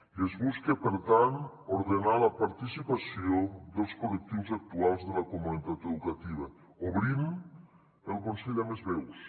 i es busca per tant ordenar la participació dels col·lectius actuals de la comunitat educativa obrint el consell a més veus